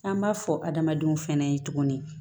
An b'a fɔ adamadenw fɛnɛ ye tuguni